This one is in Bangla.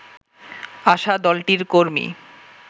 আসা দলটির কর্মী